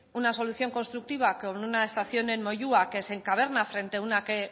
una solución constructiva con una estación en moyua que se encaverna frente a una que